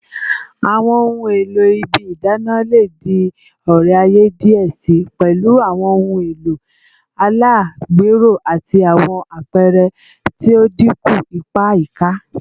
Awọn ohun elo ibi idana le di ore-aye diẹ sii, pẹlu awọn ohun elo alagbero ati awọn apẹrẹ ti o dinku ipa ayika